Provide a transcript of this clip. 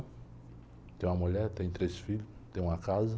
Tenho uma mulher, tenho três filhos, tenho uma casa.